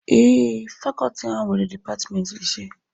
Ee, Fakọọti a nwere Dipatmentị ise